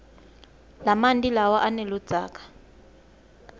lamanti lawa aneludzaka